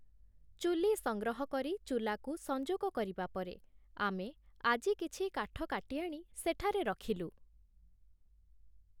ଚୁଲି ସଂଗ୍ରହ କରି, ଚୁଲାକୁ ସଂଯୋଗ କରିବା ପରେ, ଆମେ ଆଜି କିଛି କାଠ କାଟି ଆଣି ସେଠାରେ ରଖିଲୁ ।